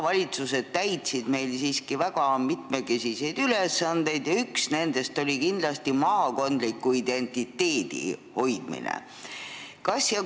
Maavalitsused täitsid siiski väga mitmekesiseid ülesandeid, millest üks oli kindlasti maakondliku identiteedi hoidmine.